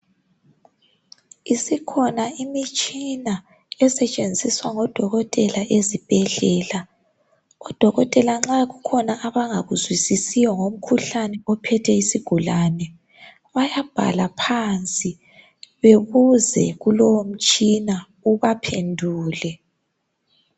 Isikhona imitshina esetshenziswa ngodokotela ezibhedlela. Odokotela nxa kukhona abangakuzwisisiyo ngomkhuhlane ophethe isigulane. Bayabhala phansi bebuze kulowo mtshina ubaphendule.